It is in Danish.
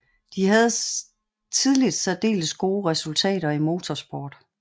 De havde tidligt særdeles gode resultater i motorsport